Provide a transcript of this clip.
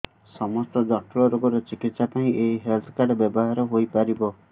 ସମସ୍ତ ଜଟିଳ ରୋଗର ଚିକିତ୍ସା ପାଇଁ ଏହି ହେଲ୍ଥ କାର୍ଡ ବ୍ୟବହାର ହୋଇପାରିବ